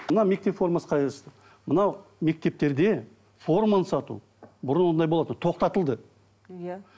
мына мектеп формасы қай жаста мынау мектептерде форманы сату бұрын ондай болатын тоқталды иә